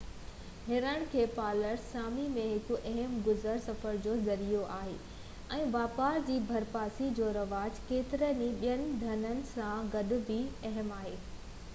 هرڻن کي پالڻ سامي ۾ هڪ اهم گذر سفر جو ذريعو آهي ۽ واپار جي ڀرپاسي جو رواج ڪيترن ئي ٻين ڌنڌن سان گڏ بہ اهم آهي